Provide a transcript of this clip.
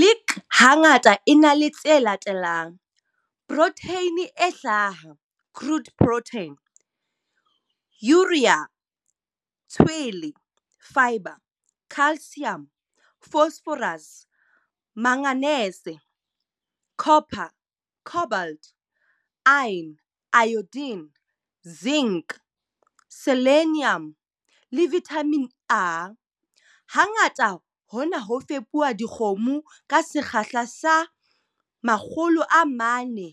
Lick hangata e na le tse latelang - protheine e hlaha, crude protein, urea, tshwele, fibre, calcium, phosphorus, manganese, copper, cobalt, iron, iodine, zinc, selenium le vithamine A. Hangata hona ho fepuwa dikgomo ka sekgahla sa 400 g